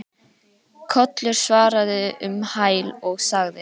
Kollur svaraði um hæl og sagði